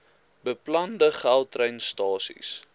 beplande gautrain stasies